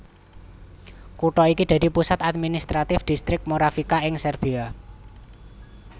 Kutha iki dadi pusat administratif Dhistrik Moravica ing Serbia